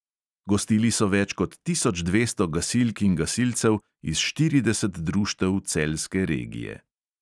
Gostili so več kot tisoč dvesto gasilk in gasilcev iz štirideset društev celjske regije.